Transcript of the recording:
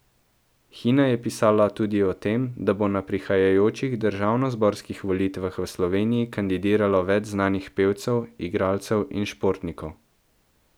Hina je pisala tudi o tem, da bo na prihajajočih državnozborskih volitvah v Sloveniji kandidiralo več znanih pevcev, igralcev in športnikov.